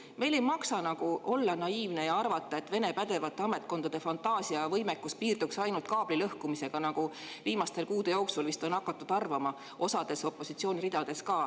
Meil ei maksa olla naiivsed ja arvata, et Vene pädevate ametkondade fantaasia ja võimekus piirdub ainult kaablilõhkumisega, nagu viimaste kuude jooksul vist on hakatud arvama osaliselt opositsiooni ridades.